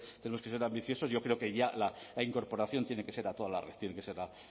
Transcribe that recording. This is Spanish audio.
tenemos que ser ambiciosos yo creo que ya la incorporación tiene que ser a toda la red tiene que ser a